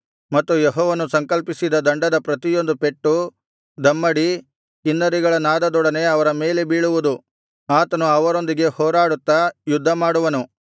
ಮತ್ತು ಯೆಹೋವನು ಸಂಕಲ್ಪಿಸಿದ ದಂಡದ ಪ್ರತಿಯೊಂದು ಪೆಟ್ಟು ದಮ್ಮಡಿ ಕಿನ್ನರಿಗಳ ನಾದದೊಡನೆ ಅವರ ಮೇಲೆ ಬೀಳುವುದು ಆತನು ಅವರೊಂದಿಗೆ ಹೋರಾಡುತ್ತಾ ಯುದ್ಧಮಾಡುವನು